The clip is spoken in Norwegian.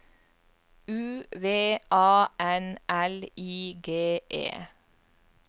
U V A N L I G E